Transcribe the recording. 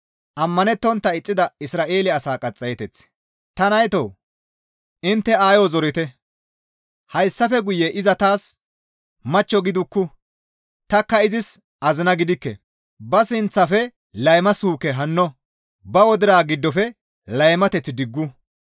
«Ta naytoo! Intte aayo zorite; hayssafe guye iza taas machcho gidukku; tanikka izis azina gidikke; ba sinththafe layma suuke hano, ba wodira giddofe laymateth diggu.